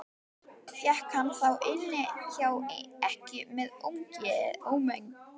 Fékk hann þá inni hjá ekkju með ómegð.